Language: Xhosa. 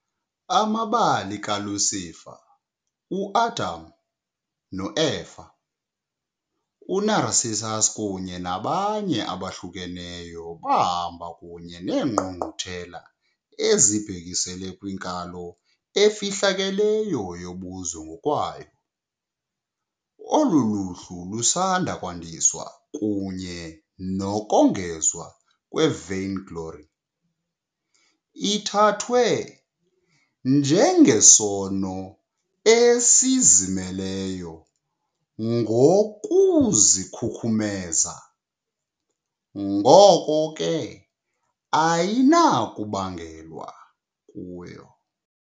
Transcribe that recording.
Amabali kaLucifer, uAdam noEva, uNarcissus kunye nabanye abahlukeneyo bahamba kunye neengqungquthela ezibhekiselele kwinkalo efihlakeleyo yobuze ngokwayo. Olu luhlu lusanda kwandiswa kunye nokongezwa kwe "-vainglory", ithathwa njengesono esizimeleyo ngokuzikhukhumeza, ngoko ke ayinakubangelwa kuyo.